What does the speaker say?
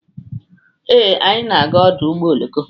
Ee, anyị na-aga ọdụ ụgbọ oloko.